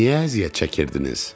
Niyə əziyyət çəkirdiniz?